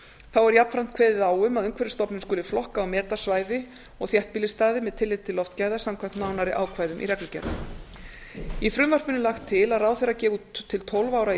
þá er jafnframt kveðið á um að umhverfisstofnun skuli flokka og meta svæði og þéttbýlisstaði með tilliti til loftgæða samkvæmt nánari ákvæðum í reglugerð í frumvarpinu er lagt til að ráðherra gefi út til tólf ára í